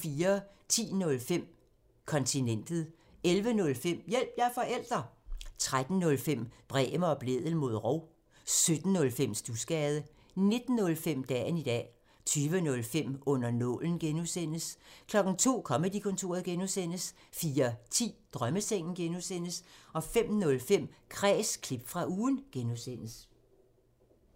10:05: Kontinentet 11:05: Hjælp – jeg er forælder! 13:05: Bremer og Blædel mod rov 17:05: Studsgade 19:05: Dagen i dag 20:05: Under nålen (G) 02:00: Comedy-kontoret (G) 04:10: Drømmesengen (G) 05:05: Kræs – klip fra ugen (G)